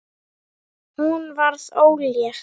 Verður síðar að því vikið.